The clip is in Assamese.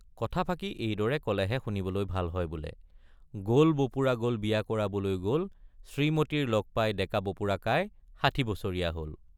কথাফাকি এইদৰে কলেহে শুনিবলৈ ভাল হয় বোলে— গল বপুৰা গল বিয়া কৰাবলৈ গল শ্ৰীমতীৰ লগ পাই ডেকা বপুৰাকাই ষাঠি বছৰীয়া হল।